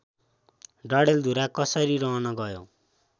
डडेलधुरा कसरी रहन गयो